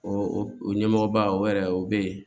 O o ɲɛmɔgɔba o yɛrɛ o bɛ yen